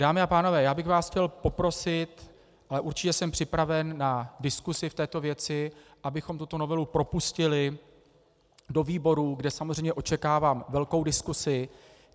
Dámy a pánové, já bych vás chtěl poprosit, ale určitě jsem připraven na diskusi v této věci, abychom tuto novelu propustili do výborů, kde samozřejmě očekávám velkou diskusi.